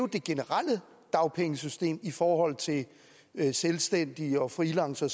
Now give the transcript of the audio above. det generelle dagpengesystem i forhold til selvstændige og freelancere